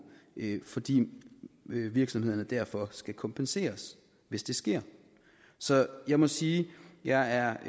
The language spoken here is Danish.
fordi virksomhederne derfor skal kompenseres hvis det sker så jeg må sige at jeg